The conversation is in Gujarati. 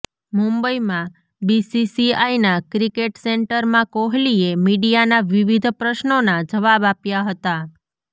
મુંબઈમાં બીસીસીઆઈના ક્રિકેટ સેન્ટરમાં કોહલીએ મીડિયાના વિવિધ પ્રશ્નોના જવાબ આપ્યા હતા